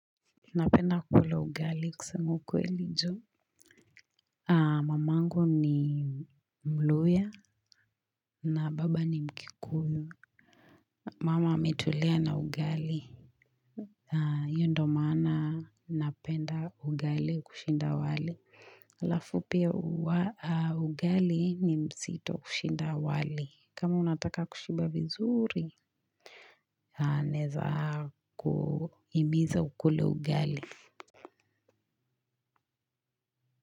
Napenda kula ugali kusema kweli jo. Mamangu ni mluya na baba ni mkikuyu. Mama ametulea na ugali iyo ndo maana napenda ugali kushinda wali alafu pia ugali ni mzito kushinda wali kama unataka kushiba vizuri. Naweza kuhimiza ukule ugali.